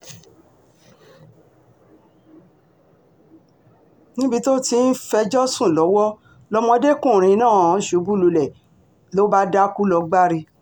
níbi tó ti um ń fẹjọ́ sùn lọ́wọ́ lọmọdékùnrin um náà ti ṣubú lulẹ̀ ló bá dákú lọ gbári